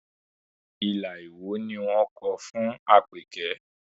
Ilà Ìwó ni wọ́n kọ fún Àpèkẹ́